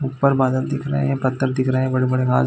ऊपर बादल दिख रहे है पत्थर दिख रहे बड़े-बड़े घाँस--